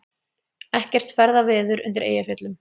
Ekkert ferðaveður undir Eyjafjöllum